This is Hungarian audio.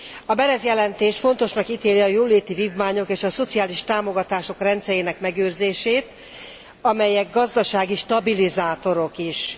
A Berès jelentés fontosnak ítéli a jóléti vívmányok és a szociális támogatások rendszerének megőrzését, amelyek gazdasági stabilizátorok is.